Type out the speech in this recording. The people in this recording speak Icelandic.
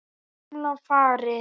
Gamla farið.